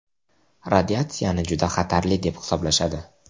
Radiatsiyani juda xatarli deb hisoblashadi.